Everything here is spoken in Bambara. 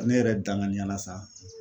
Ne yɛrɛ danganiya la sa